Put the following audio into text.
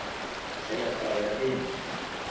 Segjast bara vera vinir